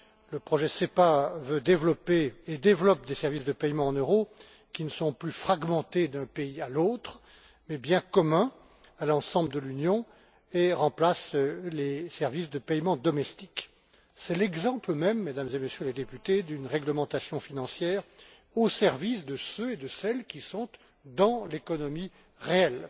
Le projet SEPA veut développer et développe des services de paiement en euros qui ne sont plus fragmentés d'un pays à l'autre, mais bien communs à l'ensemble de l'Union, et il remplace les services de paiement domestiques. C'est l'exemple même, Mesdames et Messieurs les députés, d'une réglementation financière au service de celles et ceux qui sont dans l'économie réelle